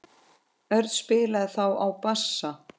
Örn spilaði þá á bassa.